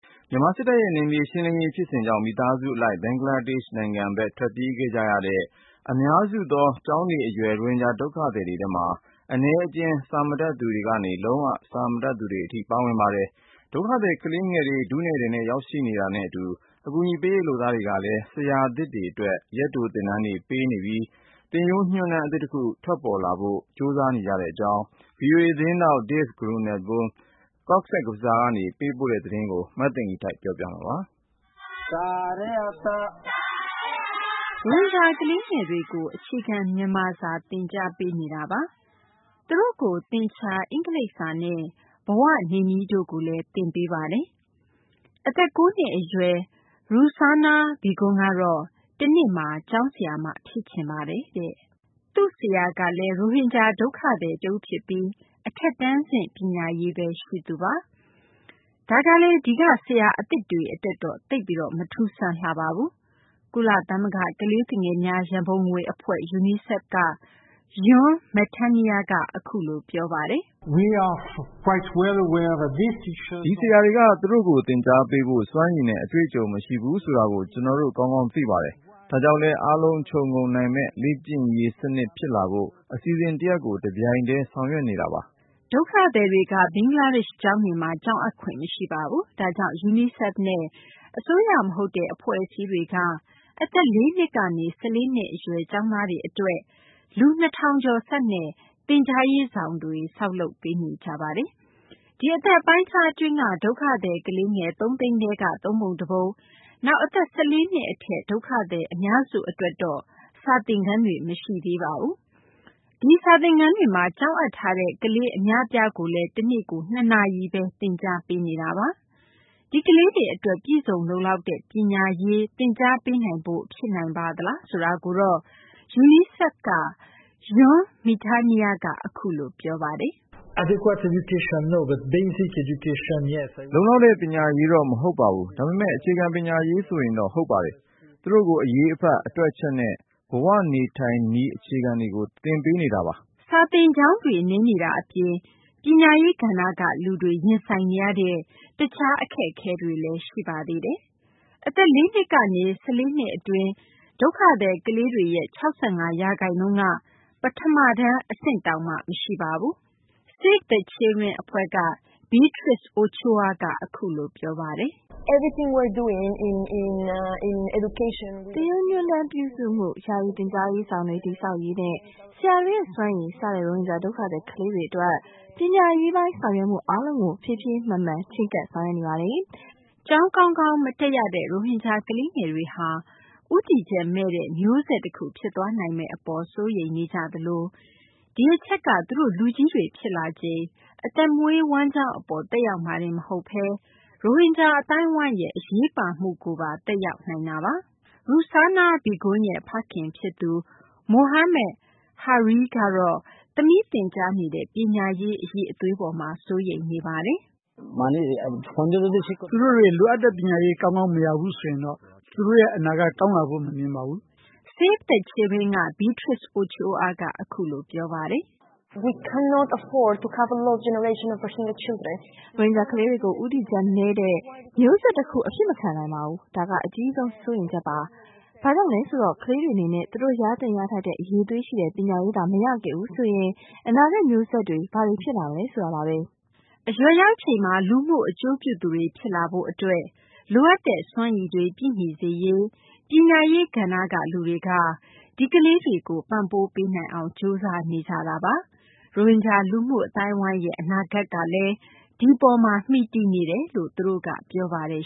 မြန်မာ စစ်တပ်ရဲ့ ဖြိုခွင်းမှုတွေကြောင့် မိဘ ဆွေမျိုးတွေနဲ့ အတူ ဘင်္ဂလားဒေရှ့်ဘက် ထွက်ပြေးခဲ့ကြတဲ့ အများစုသော ကျောင်းနေအရွယ် ရိုဟင်ဂျာ ဒုက္ခသည်တွေဟာ အနည်းအကျဉ်း စာတတ်သူတွေကနေ လုံးဝ စာမတတ်သူတွေ ဖြစ်ပါတယ်။ ဒုက္ခသည် ကလေးငယ်တွေ ထုနဲ့ထည်နဲ့ ရောက်ရှိနေတာနဲ့ အတူ အကူအညီပေးရေး လုပ်သားတွေကလည်း ဆရာအသစ်တွေ အတွက် ရက်တို သင်တန်းတွေ ပေးနေပြီး သင်ရိုးညွှန်းတမ်း အသစ်တခု ထွက်လာဖို့အတွက်လည်း လုံးပမ်းနေကြရကြောင်း ဗွီအိုအေ သတင်းထောက် Dave Grunebaum က ဘင်္ဂလားဒေရှ့်နိုင်ငံ ကောဇ့်ဘဇားကနေ သတင်းပေးပို့ထားပါတယ်။ မသိင်္ဂီထိုက် ပြောပြပေးမှာပါ။ ရိုဟင်ဂျာ ကလေးငယ်တွေကို အခြေခံ မြန်မာစာ သင်ကြားပေးနေတာပါ။ သူတို့ကို သင်္ချာ၊ အင်္ဂလိပ်စာနဲ့ ဘဝနေနည်းတို့ကိုလည်း သင်ကြားပေးနေတာပါ။ အသက် ၉ နှစ် အရွယ် Ruksana Begum ကတော့ တနေ့မှာ ကျောင်းဆရာမ ဖြစ်ချင်တယ်လို့ ပြောပါတယ်။ "စာသင်နေရရင် ကျမ ပျော်ပါတယ်။" သူမရဲ့ ဆရာကလည်း ရိုဟင်ဂျာ ဒုက္ခသည် တဦးဖြစ်ပြီး အထက်တန်းဆင့် ပညာရေးပဲ ရှိသူပါ။ ဒါကလည်း ဒီက ဆရာအသစ်တွေ အတွက်တော့ သိပ်ပြီး မထူးဆန်းလှပါဘူး။ ကုလသမဂ္ဂ ကလေးသူငယ်များ ရံပုံငွေ အဖွဲ့ UNICEF က Jean Metenier က အခုလို ပြောပါတယ်။ "ဒီဆရာတွေက သူတို့ကို သင်ကြားပေးဖို့ စွမ်းရည်နဲ့ အတွေ့အကြုံ မရှိဘူးဆိုတာကို ကျနော်တို့ ကောင်းကောင်း သိပါတယ်။ ဒါကြောင့်လည်း အားလုံး ခြုံငုံနိုင်မယ့် လေ့ကျင့်ရေး စနစ်ဖြစ်လာဖို့ အစီအစဉ်တရပ်ကို တပြိုင်တည်း ဆောင်ရွက်နေတာပါ။" ဒုက္ခသည်တွေက ဘင်္ဂလားဒေရှ့် ကျောင်းတွေမှာ ကျောင်းအပ်ခွင့်မရှိပါဘူး။ ဒါကြောင့် UNICEFနဲ့ အစိုးရ မဟုတ်တဲ့ အဖွဲ့အစည်းတွေက အသက် ၄ နှစ်ကနေ ၁၄ နှစ်အရွယ် ကျောင်းသားတွေ အတွက် လူ ၂,၀၀၀ ကျာ်ဆန့်တဲ့ သင်ကြားရေးဆောင်တွေ ဆောက်လုပ်နေကြပါတယ်။ ဒီအသက်အပိုင်းအခြား အတွင်းက ဒုက္ခသည် ကလေးငယ် ၃၀၀,၀၀၀ ထဲက သုံးပုံတပုံ နောက် အသက် ၁၄ နှစ် အထက် ဒုက္ခသည် အများစု အတွက်တော့ စာသင်ခန်းတွေ မရှိသေးပါဘူး။ ဒီစာသင်ခန်းတွေမှာ ကျောင်းအပ်ထားတဲ့ ကလေး အများအပြားကိုလည်း တနေ့ကို ၂ နာရီပဲ သင်ကြားပေးနေတာပါ။ ဒီကလေးတွေ အတွက် ပြည့်စုံလုံလောက်တဲ့ ပညာရေး သင်ကြားပေးနိုင်ဖို့ ဖြစ်နိုင်ပါသလားဆိုတာကိုတော့ UNICEF က Jean Metenier က အခုလို ပြောပါတယ်။ "လုံလောက်တဲ့ ပညာရေးတော့ မဟုတ်ပါဘူး။ ဒါပေမယ့် အခြေခံ ပညာရေးဆိုရင်တော့ ဟုတ်ပါတယ်။ သူတို့ကို အရေးအဖတ်၊ အတွက်အချက်နဲ့ ဘဝ နေနည်းထိုင်နည်း အခြေခံတွေကို သင်ပေးနေတာပါ။" စာသင်ကျောင်းတွေ နည်းနေတာ အပြင် ပညာရေး ကဏ္ဍက လူတွေ ရင်ဆိုင်နေရတဲ့ တခြားအခက်အခဲတွေလည်း ရှိပါသေးတယ်။ အသက် ၄ နှစ်ကနေ ၁၄ နှစ် အတွင်း ဒုက္ခသည် ကလေးတွေရဲ့ ၆၅ ရာခိုင်နှုန်းက ပထမတန်းအဆင့်တောင်မှ မရှိပါဘူး။ Save the Children အဖွဲ့က Beatriz Ochoa က အခုလို ပြောပါတယ်။ "သင်ရိုးညွှန်းတမ်းပြုစုမှု၊ ယာယီ သင်ကြားရေးဆောင်တွေ တည်ဆောက်ရေးနဲ့ ဆရာတွေရဲ့ စွမ်းရည် စတဲ့ ရိုဟင်ဂျာ ဒုက္ခသည် ကလေးငယ်တွေ အတွက် ပညာရေးပိုင်း ဆောင်ရွက်မှု အားလုံးကို ဖြည်းဖြည်းမှန်မှန် ချဉ်းကပ် ဆောင်ရွက်နေပါတယ်။" ကျောင်း ကောင်းကောင်း မတက်ရတဲ့ ရိုဟင်ဂျာ ကလေးငယ်တွေဟာ ဦးတည်ချက်မဲ့တဲ့ မျိုးဆက်တခု ဖြစ်သွားနိုင်မယ့် အပေါ် စိုးရိမ်နေကြရသလို ဒီအချက်က သူတို့ လူကြီးတွေ ဖြစ်လာချိန် အသက်မွေးဝမ်းကျောင်း အပေါ် သက်ရောက်မှာတင် မဟုတ်ဘဲ ရိုဟင်ဂျာ အသိုင်းအဝိုင်းရဲ့ အရေးပါမှုကိုပါ သက်ရောက်နိုင်ပါတယ်။ Ruksana Begum ရဲ့ ဖခင် ဖြစ်သူ Mohammed Hares ကတော့ သမီးသင်ကြားနေတဲ့ ပညာရေး အရည်အသွေး အပေါ်မှာ စိုးရိမ်နေပါတယ်။ "သူတို့ လိုအပ်တဲ့ ပညာရေး ကောင်းကောင်း မရဘူးဆိုရင်တော့ သူတို့ အနာဂတ် ကောင်းလာဖို့ မမြင်ပါဘူး။" Save the Children က Beatriz Ochoa ကတော့ အခုလို ပြောပါတယ်။ "ရိုဟင်ဂျာ ကလေးတွေကို ဦးတည်ချက်မဲ့တဲ့ မျိုးဆက် တခု အဖြစ်မခံနိုင်ပါဘူး။ ဒါက အကြီးဆုံး စိုးရိမ်ချက်ပါ။ ဘာကြောင့်လဲ ဆိုတော့ ကလေးတွေ အနေနဲ့ သူတို့ရသင့် ရထိုက်တဲ့ အရည်အသွေးရှိတဲ့ ပညာရေးသာ မရခဲ့ဘူးဆိုရင် အနာဂတ် မျိုးဆက်တွေ ဘာတွေ ဖြစ်လာမလဲ ဆိုတာပါပဲ။" အရွယ်ရောက်ချိန်မှာ လူမှု အကျိုးပြုသူတွေ ဖြစ်လာရေး အတွက် လိုအပ်တဲ့ စွမ်းရည်တွေ ပြည့်မီစေရေး ပညာရေး ကဏ္ဍက လူတွေက ဒီကလေးတွေကို ပံ့ပိုး ပေးနိုင်အောင် ကြိုးစားနေကြတာပါ။ ရိုဟင်ဂျာ လူမှု အသိုင်းအဝိုင်းရဲ့ အနာဂတ်ကလည်း ဒီအပေါ်မှာ မှီတည်နေတယ်လို့လည်း သူတို့က ပြောပါတယ်